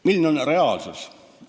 Milline on reaalsus?